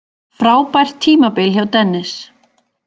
Frábært tímabil hjá Dennis